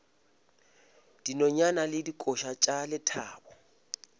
dinonyane le dikoša tša lethabo